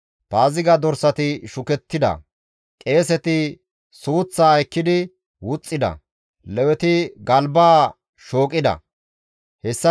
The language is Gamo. Paaziga dorsati shukettida; qeeseti suuththaa ekkidi wuxxida; Leweti galbaa shooqi kessida.